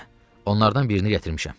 Hə, onlardan birini gətirmişəm.